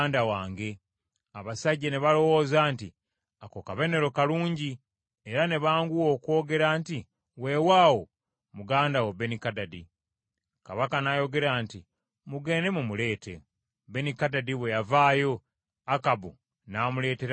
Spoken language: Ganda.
Abasajja ne balowooza nti ako kabonero kalungi, era ne banguwa okwogera nti, “Weewaawo, muganda wo Benikadadi.” Kabaka n’ayogera nti, “Mugende mumuleete.” Benikadadi bwe yavaayo, Akabu n’amuleetera mu gaali lye.